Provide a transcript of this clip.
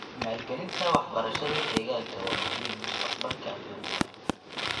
Maalgelinta waxbarashada deegaanka waa muhiim mustaqbalka adduunka.